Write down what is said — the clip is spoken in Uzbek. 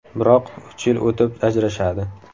Biroq uch yil o‘tib ajrashadi.